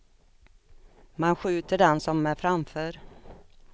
Man skjuter den som är framför.